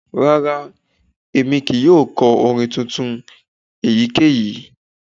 Rara, Emi kii yoo kọ orin tuntun eyikeyi